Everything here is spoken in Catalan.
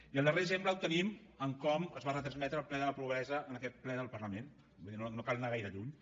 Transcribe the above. i el darrer exemple el tenim en com es va retransmetre el ple de la pobresa en aquest ple del parlament vull dir no cal anar gaire lluny